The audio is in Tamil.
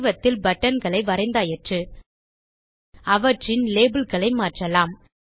படிவத்தில் பட்டன்களை வரைந்தாயிற்று அவற்றின் labelகளை மாற்றலாம்